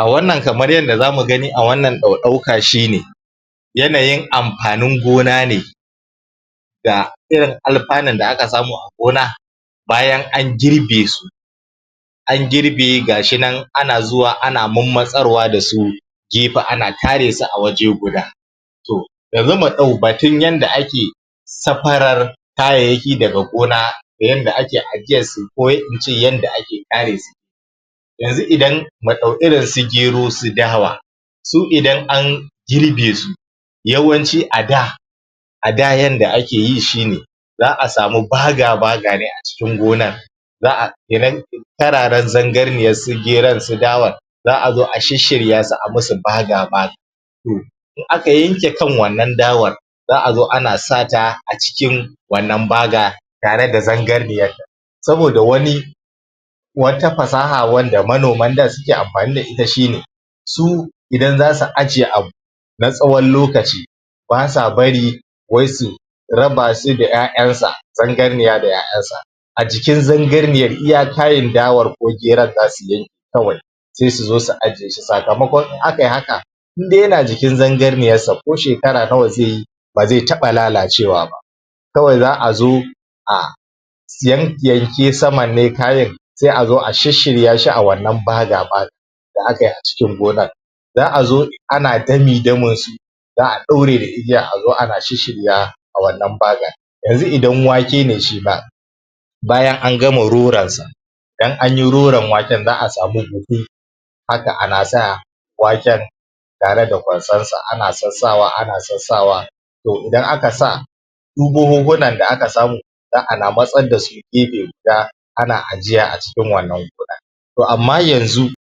A wannankamar ydda za mu gani a wannan ɗauka shine yanayin amfanin gona ne da irin alfanon da aka samu a gona bayan an girbe, an girbe ga shi nan ana zuwa ana marmatsar da su jifa, ana tare su a waje guda. To yanzu mu ɗau batun yadda ake, safarar kayayyaki daga gona da yadd ake ajiyar su ko ince yadda ake tare su yanzu idan, mu ɗau irinsu gero su idan an girbe su yawanci a da a da yadda ake yi shine, za'a sami baga-baga ne a cikin gonar za'a irin tarara zangarniyar su geron, su dawar za'a zo a shirshiryasu a musu baga-baga. To, in aka yanke kan wannan dawar za'a zo ana sata a cikin wannan baga, tare da zangarniyar, saboda wani wata fasaha wanda manoman da suke amfani da ita shine su idan za su ajiye abu na tsawon lokaci, ba sa bari wai su raba su da 'ya'yansu zangarniya da 'ya'yansa. A cikin zangarniyar, iya tarin dawar ko geron za su girbe kawai sai su zo su ajiye su sakamakon in akai haka indai yana jikin zangarniyarsa koshekara nawa zai yi ba zai taɓa lalacewa ba. Kawai za'a zo a yanyanke saman ne kafin sai a zo a shirshirya shi a wannan baga-baga da akai a cikin gonar. Za'a zo ana dami-damin su za'a ɗaure da igiya azo ana shirshirya su a wannan bagar. Yanzu idan wake ne shima, bayan an gama roronsa idan anyi roron waken za'a samu buhu haka ana sa waken tare da kwasarsa, ana sassawa, ana sassawa to idan aka sa duk buhuhunan da aka samu za'ana matsar da su gefe za, ana ajiye wa a cikin wannan kulan. To amma yanzu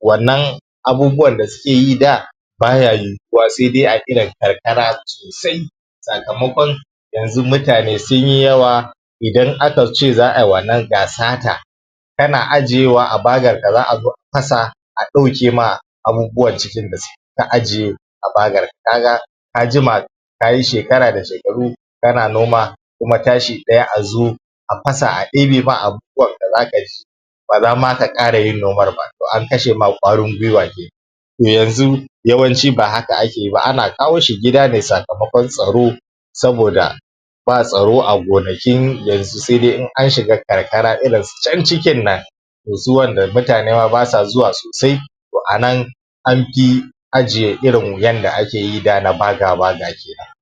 wannan abubuwannda suke yi da baya yiwuwa saui a irin karkara sosai sakamakon yanzu mutane sun yi yawa, idan aka ce za ai wanna gasa haka kana ajiwa a bagar ka za'a zo fasa a ɗaukem abubuwan da suke cikin da ka ajiye a bagar kaga ka jima ka yi shekara da shekaru kana noma kuma tashi ɗaya a zo a fasa a ɗebema abubuwanka zaka ji ba za ma ka ƙara yin noman ba, to an kashe ma ƙwarin gwiwa kenan. To yanzu yawanci ba haka ake yi ba ana kawo shi gida ne sakamakon tsaro saboda ba tsaro a gonakin yanzu sai dai in an shiga karkara irin su can cikin nan. To su wanda mutane ma ba sa zuwa sosai to anan anfi ajiye irin yadda akeyi na da irin baga-baga kenan.